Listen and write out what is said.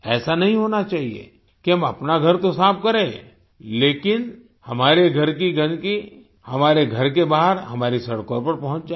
ऐसा नहीं होना चाहिए कि हम अपना घर तो साफ़ करें लेकिन हमारे घर की गंदगी हमारे घर के बाहर हमारी सड़कों पर पहुँच जाए